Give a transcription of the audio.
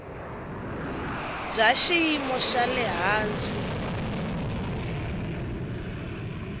bya xiyimo xa le hansi